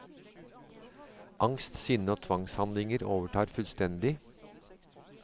Angst, sinne og tvangshandlinger overtar fullstendig.